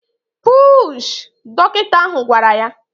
Puuuuuushị! Dọkịta ahụ gwara ya